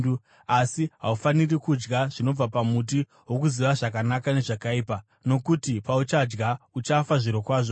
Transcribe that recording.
asi haufaniri kudya zvinobva pamuti wokuziva zvakanaka nezvakaipa, nokuti pauchaudya uchafa zvirokwazvo.”